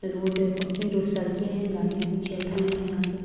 Road है पक्की रो सड़के हैं गाड़ियाँ भी चल रही है यहाँ पे।